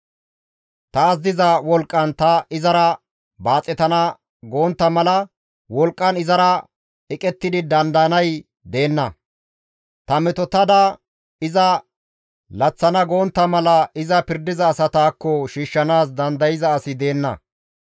Taas diza wolqqan ta izara baaxetana gontta mala wolqqan izara eqettidi dandayanay deenna; ta mootettada iza laththana gontta mala iza pirdiza asataakko shiishshanaas dandayza asi deenna.